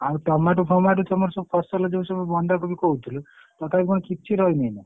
ଆଉ tomato ଫମାଟୋ ତମର ସବୁ ଫସଲ ଯୋଉସବୁ ବନ୍ଧାକୋବି କହୁଥୁଲୁ ତଥାପି କଣ କିଛି ରହିନି ନା?